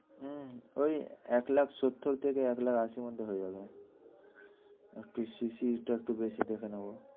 হ্যাঁ ওই এক লাখ সত্তর থেকে এক লাখ আশির মধ্যে হয়ে যাবে। একটু CC টা একটু বেশি দেখে নেব।